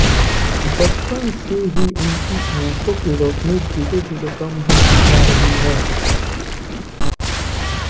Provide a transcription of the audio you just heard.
बचपन से ही उनकी आंखों की रोशनी धीरेधीरे कम होती जा रही है